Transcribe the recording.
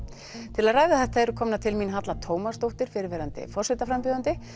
til að ræða þetta eru komnar til mín Halla Tómasdóttir fyrrverandi forsetaframbjóðandi